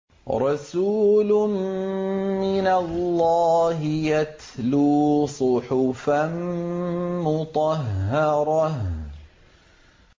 رَسُولٌ مِّنَ اللَّهِ يَتْلُو صُحُفًا مُّطَهَّرَةً